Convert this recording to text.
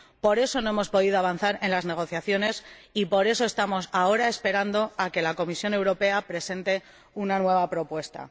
Por eso, no hemos podido avanzar en las negociaciones y, por eso, estamos ahora esperando a que la Comisión Europea presente una nueva propuesta.